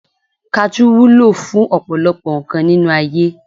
Kajú wúlò fún ọ̀pọ̀lọpọ̀ nǹkan nínú ayé